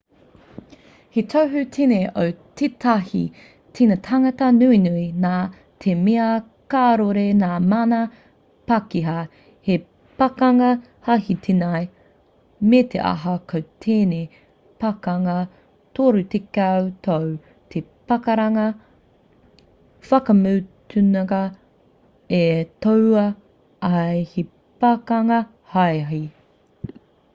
he tohu tēnei o tētahi tīnitanga nunui nā te mea kāore ngā mana pākehā he pakanga hāhī tēnei me te aha ko tēnei pakanga torutekau tau te pakanga whakamutunga e tohua ai he pakanga hāhī